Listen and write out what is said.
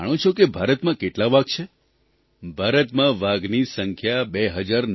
તમે જાણો છો કે ભારતમાં કેટલા વાઘ છે ભારતમાં વાઘની સંખ્યા 2967 છે